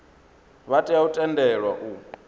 vha tea u tendelwa u